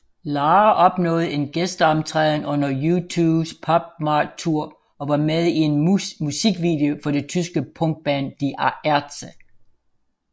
Lara opnåede en gæsteoptræden under U2s PopMart Tour og var med i en musikvideo for det tyske punkband Die Ärzte